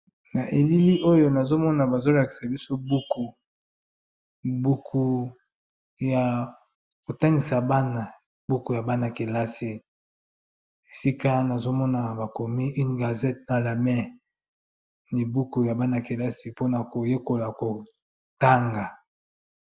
Na elili oyo nazomona bazolakisa biso buku buku ya kotangisa bana buku ya bana-kelasi esika nazomona bakomi une gazete na lamai nibuku ya bana-kelasi mpona koyekola kotanga.